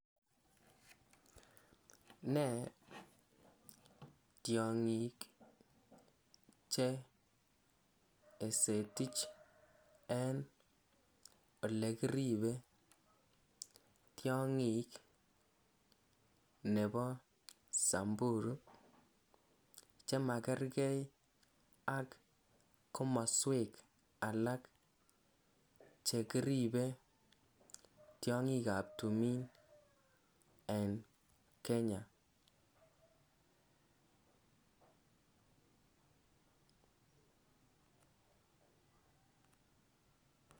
Nee tiangiik che esetiich en ole kiribe tiangiik nebo sambuu chemegerger ak komosweek alaak chekiribe tiangiik ab tumiin en Kenya.